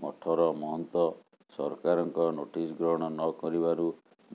ମଠର ମହନ୍ତ ସରକାରଙ୍କ ନୋଟିସ ଗ୍ରହଣ ନକରିବାରୁ